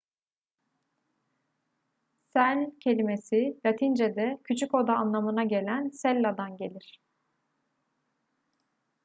cell kelimesi latincede küçük oda anlamına gelen cella'dan gelir